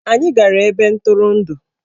Anyị gara ebe ntụrụndụ.